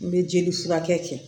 N bɛ jeli furakɛ kɛ